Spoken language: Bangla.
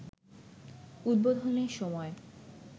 উদ্বোধনের সময়